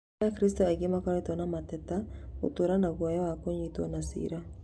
Na akristiano aingĩ makoretwo na mateta gũtũra na guoya wa kũnyitwo na cira